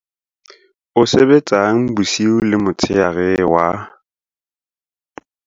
O sebetsang bosiu le motshehare wa.